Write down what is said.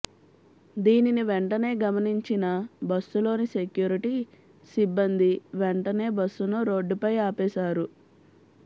దీనిని వెంటనే గమనించిన బస్సులోని సెక్యూరిటీ సిబ్బంది వెంటనే బస్సును రోడ్డుపై ఆపేశారు